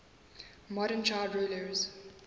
modern child rulers